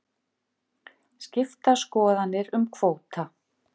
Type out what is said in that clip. Skiptar skoðanir um kvóta